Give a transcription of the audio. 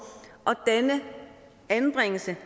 denne anbringelse